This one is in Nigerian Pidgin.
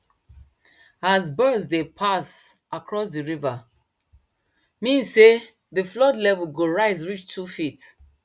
as birds dey pass across d river mean sey dey flood level go rise reach two feet